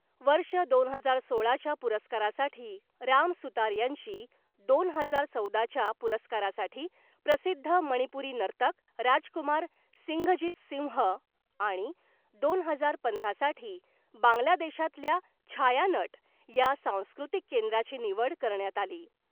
वर्ष दोन हजार सोळाच्या पुरस्कारासाठी राम सुतार यांची , दोन हजार चौदाच्या पुरस्कारासाठी प्रसिद्ध मणिपुरी नर्तक राजकुमार सिंघजीत सिंह आणि दोन हजार पंधरा साठी बांग्लादेशातल्या छायानट या सांस्कृतिक केंद्राची निवड करण्यात आली .